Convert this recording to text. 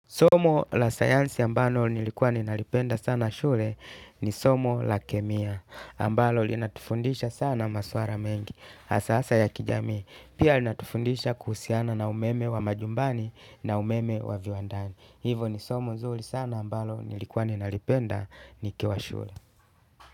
Somo la sayansi ambalo nilikuwa ninalipenda sana shule ni somo la kemia ambalo linatufundisha sana maswala mengi hasaa hasaa ya kijamii, pia linatufundisha kuhusiana na umeme wa majumbani na umeme wa viwandani. Hivo ni somo nzuri sana ambalo nilikuwa ninalipenda nikiwa shule.